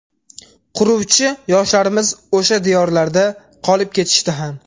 Quruvchi yoshlarimiz o‘sha diyorlarda qolib ketishdi ham.